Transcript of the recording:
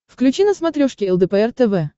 включи на смотрешке лдпр тв